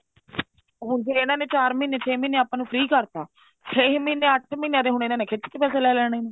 ਹੁਣ ਜੇ ਇਹਨਾ ਨੇ ਚਾਰ ਮਹੀਨੇ ਛੇ ਮਹੀਨੇ ਆਪਾਂ ਨੂੰ free ਕਰਤਾ ਛੇ ਮਹੀਨੇ ਅੱਠ ਮਹੀਨਿਆਂ ਦੇ ਇਹਨਾ ਨੇ ਖਿੱਚ ਕੇ ਪੈਸੇ ਲੇਣੇ ਆ